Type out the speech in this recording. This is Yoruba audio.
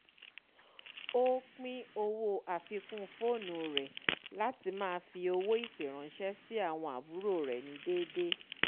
ó pín owó àfikún foonù rẹ̀ latí ma fí owó ìpè ránsẹ́ sí àwon àbúrò rẹ̀ ní déedé